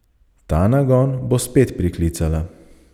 Ta nagon bo spet priklicala.